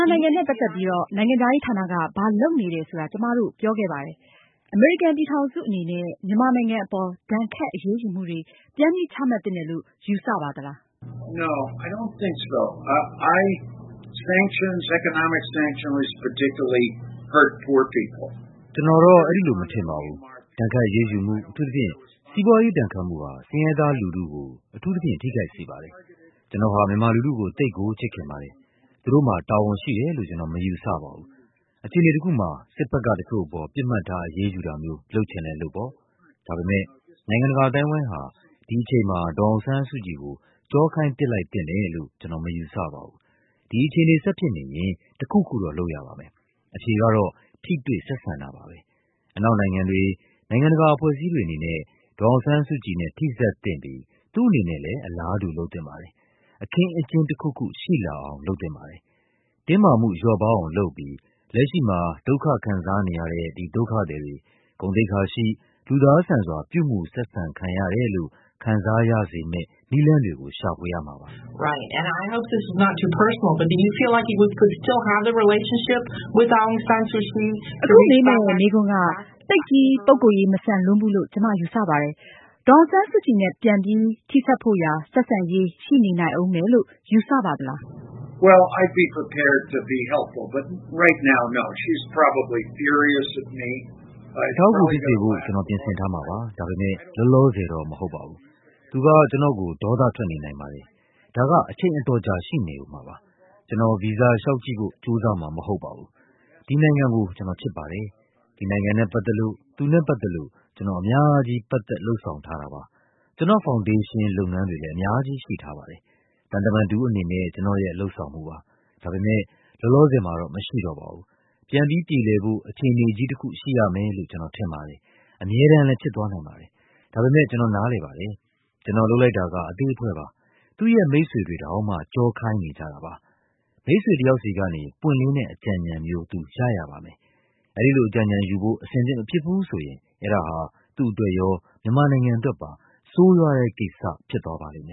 ာနိုင်ငံနဲ့ပတ်သက်ပြီး နိုင်ငံခြားရေးဌာနက ဘာလုပ်နေတယ်ဆိုတာ ကျမတို့ ပြောခဲ့ပါတယ်။ အမေရိကန်ပြည်ထောင်စုအနေနဲ့ မြန်မာနိုင်ငံအပေါ် ဒဏ်ခတ်အရေးယူမှုတွေ ပြန်ပြီး ချမှတ်သင့်တယ်လို့ ယူဆပါသလား။ Bill Richardson: ကျနော်တော့ အဲဒီလို မထင်ပါဘူး။ ဒဏ်ခတ်အရေးယူမှု၊ အထူးသဖြင့် စီးပွားရေးဒဏ်ခတ်မှု ဟာ ဆင်းရဲသားလူထုကို အထူးသဖြင့် ထိခိုက်စေပါတယ်။ ကျနော်ဟာ မြန်မာလူထုကို သိပ်ကို ချစ်ခင်ပါတယ်။ သူတို့မှာ တာဝန်ရှိတယ်လို့ ကျနော်မယူဆပါဘူး။ အခြေအနေတခုမှာ စစ်ဘက်ကတချို့အပေါ် ပစ်မှတ်ထား အရေးယူတာမျိုး လုပ်ချင်လည်းလုပ်ပေါ့။ ဒါပေမယ့် နိုင်ငံတကာ အသိုင်းအဝိုင်းဟာ ဒီအချိန်မှာ ဒေါ်အောင်ဆန်း စုကြည်ကို ကျောခိုင်းပစ်လိုက်သင့်တယ်လို့ ကျနော်မယူဆပါဘူး။ ဒီအခြေအနေ ဆက်ဖြစ်နေရင် တခုခုတော့ လုပ်ရပါမယ်။ အဖြေကတော့ ထိတွေ့ဆက်ဆံတာပါပဲ။ အနောက်နိုင်ငံတွေ၊ နိုင်ငံတကာ အဖွဲ့အစည်းတွေအနေ နဲ့ ဒေါ်အောင်ဆန်းစုကြည်နဲ့ ထိစပ်သင့်ပြီး သူ့အနေနဲ့လည်း အလားတူ လုပ်သင့်ပါတယ်။ အခင်းအကျင်းတခုခု ရှိလာ အောင် လုပ်သင့်ပါတယ်။ တင်းမာမှုလျော့ပါးအောင်လုပ်ပြီး လက်ရှိမှာ ဒုက္ခခံစားနေရတဲ့ ဒီဒုက္ခသည်တွေ ဂုဏ်သိက္ခာရှိ၊ လူသား ဆန်စွာ ပြုမူဆက်ဆံခံရတယ်လို့ ခံစားရစေမယ့် နည်းလမ်းတွေကိုရှာဖွေပါ။ VOA: အခုမေးမယ့်မေးခွန်းက သိပ်ကြီး ပုဂ္ဂိုလ်ရေး မဆန်လွန်းဘူးလို့ ကျမယူဆပါတယ်။ ဒေါ်အောင်ဆန်း စုကြည်နဲ့ ပြန်ပြီး ထိစပ်ဖို့ရာ ဆက်ဆံရေး ရှိနေနိုင်ဦးမယ်လို့ ယူဆပါသလား။ Bill Richardson: အထောက်အကူဖြစ်စေဖို့ ကျနော် ပြင်ဆင်ထားမှာပါ၊ ဒါပေမယ့် လောလောဆယ်တော့ မဟုတ်ပါဘူး။ သူက ကျနော့်ကို ဒေါသထွက်နေနိုင်ပါတယ်။ ဒါက အချိန်အတော်ကြာ ရှိနေဦးမှာပါ။ ကျနော် ဗီဇာလျှောက်ကြည့်ဖို့ ကြိုးစားမှာမဟုတ်ပါဘူး။ ဒီနိုင်ငံ ကို ကျနော်ချစ်ပါတယ်။ ဒီနိုင်ငံနဲ့ပတ်သက်လို့၊ သူနဲ့ ပတ်သက်လို့ ကျနော် အများကြီး ပတ်သက် လုပ်ဆောင်ထားတာပါ။ ကျနော့် ဖောင်ဒေးရှင်းလုပ်ငန်းတွေလည်း အများကြီးရှိထားပါတယ်။ သံတမန်တဦးအနေနဲ့ ကျနော့်ရဲ့ လုပ်ဆောင်မှုပါ။ ဒါပေမယ့် လောလောဆယ်မှာ တော့ မရှိတော့ပါဘူး။ ပြန်ပြီးပြေလည်ဖို့ အခြေအနေကြီးတခု ရှိရမယ်လို့ ကျနော်ထင်ပါတယ်။ အမြဲတမ်းလည်း ဖြစ်သွားနိုင်ပါတယ်၊ ဒါပေမယ့် ကျနော်နားလည်ပါတယ်။ ကျနော်လုပ်လိုက်တာက အသေးအဖွဲပါ။ သူ့ရဲ့ မိတ်ဆွေတွေတောင်မှ ကျောခိုင်းနေကြတာပါ။ မိတ်ဆွေတယောက်ဆီကနေ ပွင့်လင်းတဲ့အကြံဉာဏ်မျိုး သူ ရရပါမယ်။ အဲဒီလို အကြံဉာဏ်ယူဖို့ အဆင်သင့်မဖြစ်ဘူးဆိုရင် အဲဒါဟာ သူ့အတွက်ရော၊ မြန်မာနိုင်ငံအတွက်ပါ ဆိုးရွားတဲ့ကိစ္စ ဖြစ်သွားပါလိမ့်မယ